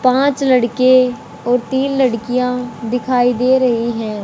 पांच लड़के और तीन लड़कियां दिखाई दे रही हैं।